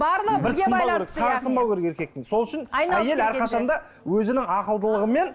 сағы сынбау керек еркектің сол үшін әрқашанда өзінің ақылдылығымен